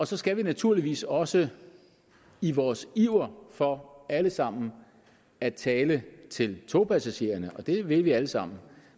så skal vi naturligvis også i vores iver for alle sammen at tale til togpassagererne og det vil vi alle sammen